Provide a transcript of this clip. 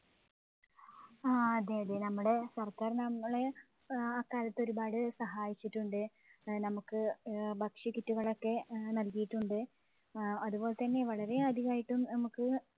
ആ അതെ അതെ നമ്മുടെ സർക്കാർ നമ്മളെ ആഹ് ആക്കാലത്ത് ഒരുപാട് സഹായിയിച്ചിട്ടുണ്ട്. നമ്മുക്ക് ഏർ ഭക്ഷ്യ kit ഉകളൊക്കെ നൽകിയിട്ടുണ്ട്. അതുപോല്ത്തന്നെ വളരെ അധികായിട്ടും നമ്മുക്ക്